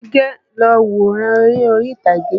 Àbíké lọ wòran eré orí ìtagé.